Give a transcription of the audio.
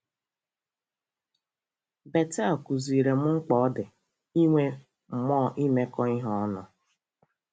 Betel kụziiri m mkpa ọ dị inwe mmụọ imekọ ihe ọnụ.